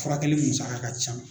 Furakɛli musaka ka can.